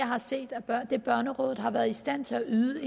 har set af det børnerådet har været i stand til at yde